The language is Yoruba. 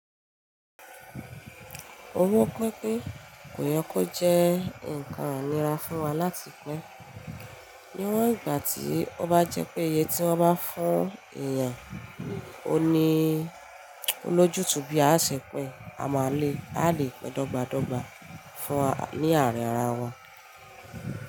Owó pínpín kò yọ kó jẹ́ ǹkan ènira fún wa láti pín. Níwọ̀n ìgbà tí ó bá jẹ́ pé iye tí wọ́n bá fún èèyàn òun ní lójú tú bí a ṣe pín, a máa le, a lè pín dọ́gba dọ́gba fún wa, ní àárín ara wa.